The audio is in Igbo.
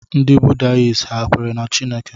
Ndị Buddhists ha kwere na Chineke?